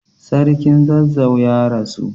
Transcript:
Sarkin zazzau ya rasu.